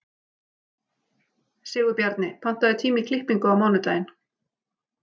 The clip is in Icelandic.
Sigurbjarni, pantaðu tíma í klippingu á mánudaginn.